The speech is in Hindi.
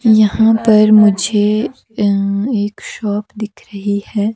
यहां पर मुझे अह एक शॉप दिख रही है।